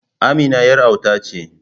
Amina yar auta ce.